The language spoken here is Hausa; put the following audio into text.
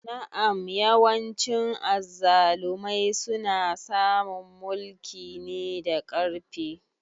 Na'am yawancin azzalumai suna samun mulki ne da ƙarfi.